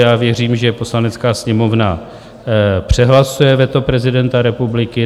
Já věřím, že Poslanecká sněmovna přehlasuje veto prezidenta republiky.